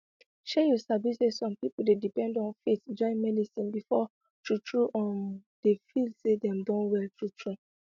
shey you sabi say some pipo dey depend on faith join medicine before true true um dem feel say dem don well true true